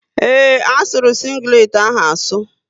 Ee, asuru sịnglet ahụ asu